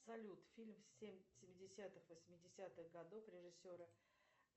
салют фильм семидесятых восьмидесятых годов режиссера